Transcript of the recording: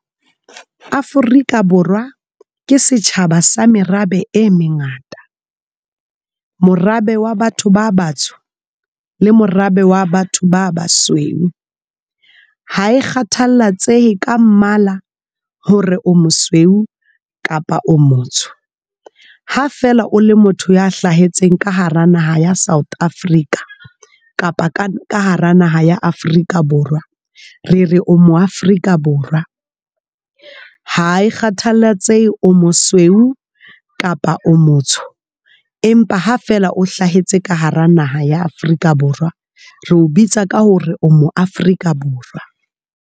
Afrika Borwa ke setjhaba sa merabe e mengata, morabe wa batho ba batsho le morabe wa batho ba basweu. Ha kgathallatsehe ka mmala hore o mosweu kapa o motsho, ha fela o le motho ya hlahetseng ka hara naha ya South Africa kapa ka hara naha ya Afrika Borwa. Re re o mo Afrika Borwa ha e kgathallatsehe hore o mosweu kapa o motsho empa ha fela o hlahetse ka hara naha ya Afrika Borwa re o bitsa ka hore o mo Afrika Borwa.